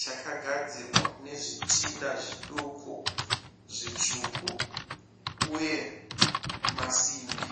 chakagadzirwa nezvitinha zviduku zvitsvuku. Uye masimbi.